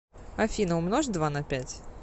афина умножь два на пять